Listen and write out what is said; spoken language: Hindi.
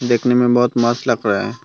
देखने में बहोत मस्त लग रहा है।